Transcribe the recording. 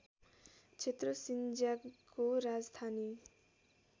क्षेत्र सिङ्ज्यागको राजधानी